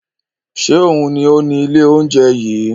Ṣe oun ni o ni ile ounjẹ yii?